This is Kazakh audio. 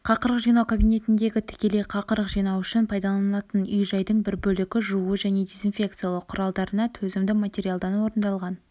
қақырық жинау кабинетіндегі тікелей қақырық жинау үшін пайдаланылатын үй-жайдың бір бөлігі жуу және дезинфекциялау құралдарына төзімді материалдан орындалған